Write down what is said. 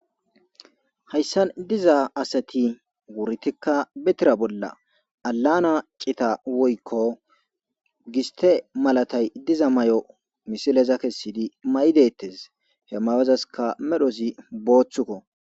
Hayssan diiza assti wurryitika be tiira bolla aalana ciita woykko gisste mallatay diiza mayo missileza kessidi mayidi dettes he mayozassika medhdhozi booththikko.